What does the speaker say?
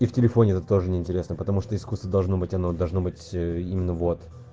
и в телефоне это тоже неинтересно потому что искусство должно быть оно должно быть именно вот